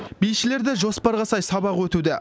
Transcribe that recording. бишілерде жоспарға сай сабақ өтуде